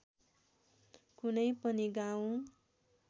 कुनै पनि गाउँ